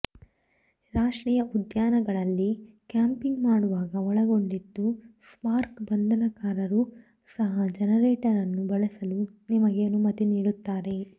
ರಾಷ್ಟ್ರೀಯ ಉದ್ಯಾನಗಳಲ್ಲಿ ಕ್ಯಾಂಪಿಂಗ್ ಮಾಡುವಾಗ ಒಳಗೊಂಡಿತ್ತು ಸ್ಪಾರ್ಕ್ ಬಂಧನಕಾರರು ಸಹ ಜನರೇಟರ್ ಅನ್ನು ಬಳಸಲು ನಿಮಗೆ ಅನುಮತಿ ನೀಡುತ್ತಾರೆ